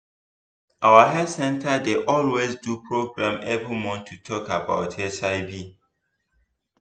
our health center dey always do program every month to talk about hiv